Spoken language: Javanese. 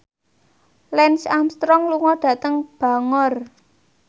Lance Armstrong lunga dhateng Bangor